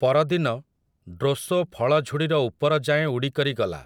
ପରଦିନ ଡ୍ରୋସୋ ଫଳଝୁଡ଼ିର ଉପରଯାଏଁ ଉଡ଼ିକରି ଗଲା ।